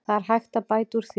Það er hægt að bæta úr því.